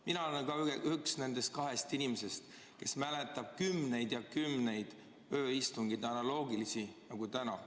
Mina olen üks nendest kahest inimesest, kes mäletab kümneid ja kümneid analoogilisi ööistungeid, nagu on täna.